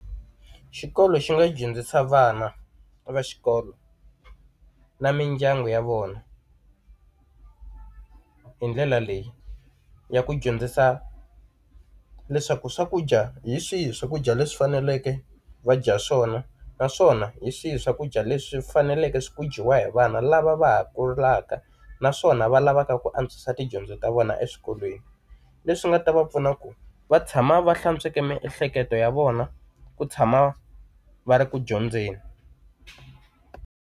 Xikolo xi nga dyondzisa vana va xikolo na mindyangu ya vona hi ndlela leyi ya ku dyondzisa leswaku swakudya hi swihi swakudya leswi faneleke va dya swona naswona hi swihi swakudya leswi faneleke swi ku dyiwa hi vana lava va ha kulaka naswona va lava va ka ku antswisa tidyondzo ta vona eswikolweni. Leswi nga ta va pfuna ku va tshama va hlantsweke miehleketo ya vona, ku tshama va ri ku dyondzeni.